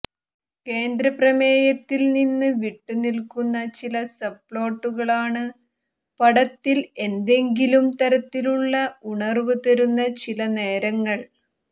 കേന്ദ്രപ്രമേയത്തിൽ നിന്ന് വിട്ടുനിൽക്കുന്ന ചില സബ്പ്ലോട്ടുകൾ ആണ് പടത്തിൽ എന്തെങ്കിലും തരത്തിലുള്ള ഉണർവ് തരുന്ന ചില നേരങ്ങൾ